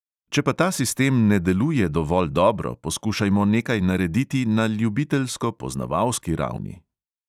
Če pa ta sistem ne deluje dovolj dobro, poskušajmo nekaj narediti na ljubiteljsko poznavalski ravni.